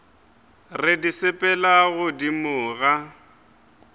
re di sepela godimo ga